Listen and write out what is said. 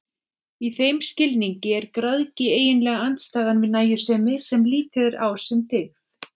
Í þeim skilningi er græðgi eiginlega andstæðan við nægjusemi, sem litið er á sem dygð.